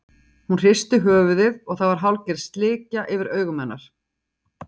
Hún hristi höfuðið og það var hálfgerð slikja yfir augum hennar.